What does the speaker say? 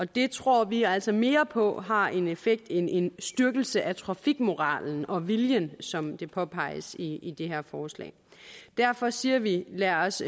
det tror vi altså mere på har en effekt end en styrkelse af trafikmoralen og viljen som det påpeges i i det her forslag derfor siger vi lad os